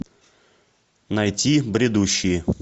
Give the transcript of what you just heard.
найти бредущие